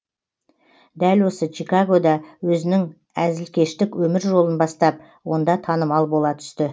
дәл осы чигагода өзінің әзілкештік өмір жолын бастап онда танымал бола түсті